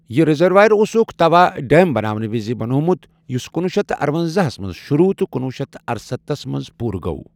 یہِ ریزرویر اوسُکھ توا ڈیم بناونہٕ وِزِ بنوومت، یُس کنوُہ شیٚتھ تہٕ ارونزاہس منٛز شروٗع تہٕ کنوُہ شیٚتھ تہٕ ارستتھس منٛز پوٗرٕ گوٚو۔